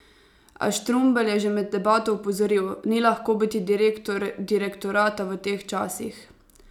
A Štrumbelj je že med debato opozoril: "Ni lahko biti direktor direktorata v teh časih.